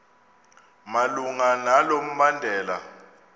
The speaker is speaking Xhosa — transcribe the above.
malunga nalo mbandela